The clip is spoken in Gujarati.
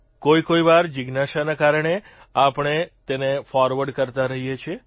કોઇકોઇ વાર જિજ્ઞાસાને કારણે આપણે તેને ફોરવર્ડ કરતા રહીએ છીએ